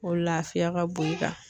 O lafiya ka bon i kan